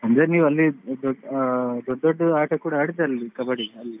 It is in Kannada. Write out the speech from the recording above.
ಅಂದ್ರೆ ನೀವು ಅಲ್ಲಿ ದೊಡ್~ ದೊಡ್ಡ ಆಟಾ ಕೂಡ ಆಡ್ತಾ ಇದ್ರಿ ಅಲ್ಲಿ ಕಬಡ್ಡಿ ಅಲ್ಲಿ?